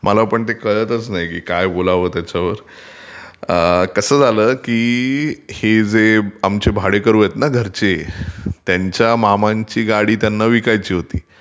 मला पण कळतच नाही काय बोलावं त्याच्यावर, कसं झाल की हे जे आमचे भाडेकरू आहेत ना घरचे त्यांच्या मामांची गाडी त्यांना विकायची होती,